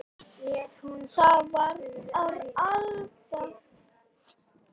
Það verður Alda.